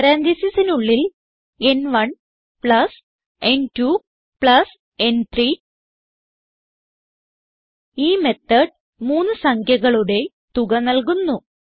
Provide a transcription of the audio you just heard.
പരാൻതീസിസിനുള്ളിൽ ന്1 പ്ലസ് ന്2 പ്ലസ് ന്3 ഈ മെത്തോട് മൂന്ന് സംഖ്യകളുടെ തുക നൽകുന്നു